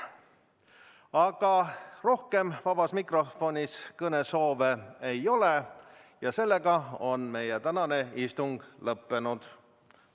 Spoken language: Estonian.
Aga rohkem vabas mikrofonis kõnesoove ei ole, seega on meie tänane istung lõppenud.